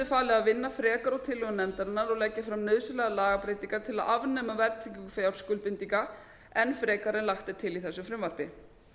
falið að vinna frekar úr tillögu nefndarinnar og legg ég fram nauðsynlegar lagabreytingar til að afnema verðtryggingu fjárskuldbindinga enn frekar en lagt er til í þessu frumvarpi